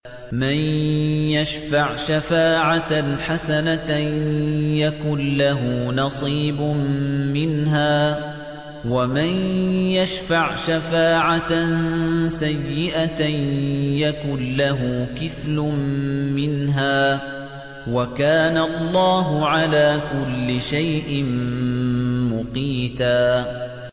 مَّن يَشْفَعْ شَفَاعَةً حَسَنَةً يَكُن لَّهُ نَصِيبٌ مِّنْهَا ۖ وَمَن يَشْفَعْ شَفَاعَةً سَيِّئَةً يَكُن لَّهُ كِفْلٌ مِّنْهَا ۗ وَكَانَ اللَّهُ عَلَىٰ كُلِّ شَيْءٍ مُّقِيتًا